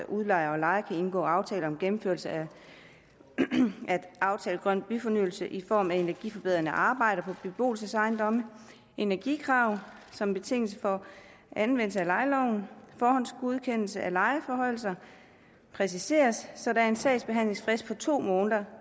udlejere og lejere kan indgå aftale om gennemførelse af aftalt grøn byfornyelse i form af energiforbedrende arbejder på beboelsesejendomme energikrav som betingelse for anvendelse af lejeloven forhåndsgodkendelse af lejeforhøjelser præciseres så der er en sagsbehandlingsfrist på to måneder